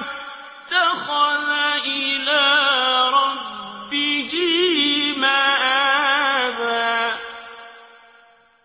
اتَّخَذَ إِلَىٰ رَبِّهِ مَآبًا